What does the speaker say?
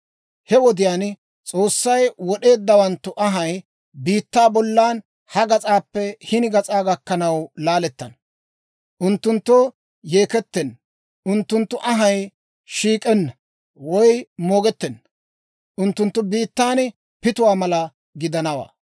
He wodiyaan S'oossay wod'eeddawanttu anhay, biittaa bollan ha gas'aappe hini gas'aa gakkanaw laalettana. Unttunttoo yeekettenna, unttunttu anhay shiik'enna woy moogettenna. Unttunttu biittan pituwaa mala gidanawaa.